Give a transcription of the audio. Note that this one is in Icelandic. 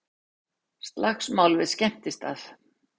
Slagsmál við skemmtistað